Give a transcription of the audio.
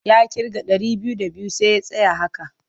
Ya ƙirga ɗari biyu d abiyu sai ya tsaya a haka.